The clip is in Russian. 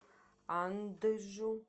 анджу